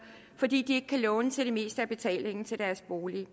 fordi de ikke kan låne til det meste af betalingen til deres bolig